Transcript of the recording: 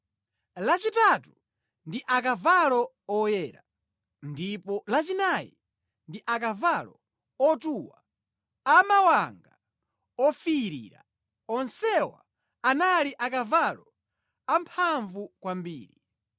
lachitatu ndi akavalo oyera, ndipo lachinayi ndi akavalo otuwa a mawanga ofiirira, onsewa anali akavalo amphamvu kwambiri.